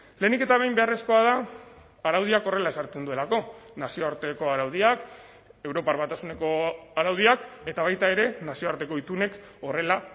lehenik eta behin beharrezkoa da araudiak horrela ezartzen duelako nazioarteko araudiak europar batasuneko araudiak eta baita ere nazioarteko itunek horrela